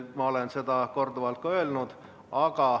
Ma olen seda korduvalt ka öelnud.